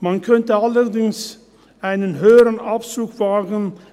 Man könnte allerdings einen höheren Abzug wagen.